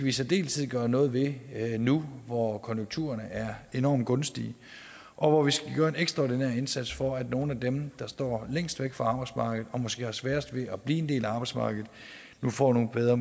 i særdeleshed gøre noget ved nu hvor konjunkturerne er enormt gunstige og hvor vi skal gøre en ekstraordinær indsats for at nogle af dem der står længst væk fra arbejdsmarkedet og måske har sværest ved at blive en del af arbejdsmarkedet nu får nogle bedre